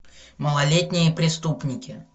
малолетние преступники